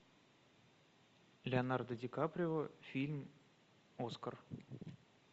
леонардо ди каприо фильм оскар